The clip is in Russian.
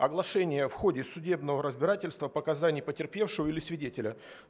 оглашение в ходе судебного разбирательства показания потерпевшего или свидетеля